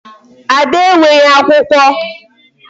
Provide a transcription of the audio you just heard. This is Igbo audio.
Ada enweghị akwụkwọ.